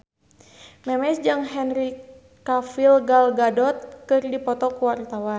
Memes jeung Henry Cavill Gal Gadot keur dipoto ku wartawan